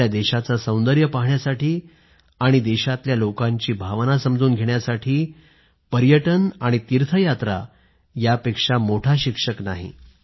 आपल्या देशाचं सौंदर्य पाहण्यासाठी आणि आपल्या देशातल्या लोकांची भावना समजून घेण्यासाठी पर्यटन आणि तीर्थयात्रा यापेक्षा मोठा शिक्षक नाही